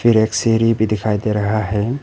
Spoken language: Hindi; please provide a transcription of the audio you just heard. और एक सीढ़ी भी दिखाई दे रहा है।